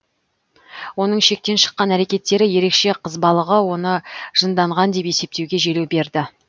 оның шектен шыққан әрекеттері ерекше қызбалығы оны жынданған деп есептеуге желеу берді